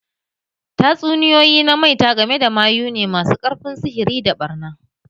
Tatsuniyoyi na maita game da mayu ne masu ƙarfin sihiri da ɓarna.